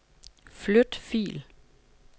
Flyt fil.